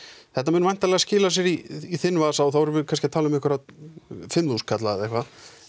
þetta mun væntanlega skila sér í þinn vasa og þá erum við kannski að tala um fimmþúsund kalla eða eitthvað